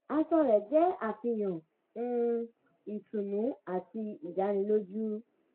aṣọ rẹ̀ jẹ́ àfihàn um ìtùnú àti ìdánilójú